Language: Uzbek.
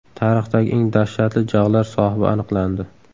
Tarixdagi eng dahshatli jag‘lar sohibi aniqlandi.